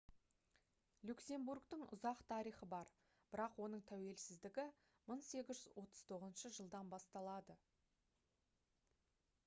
люксембургтің ұзақ тарихы бар бірақ оның тәуелсіздігі 1839 жылдан басталады